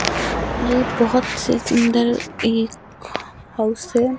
ये बहोत से सुंदर एक हाउस है।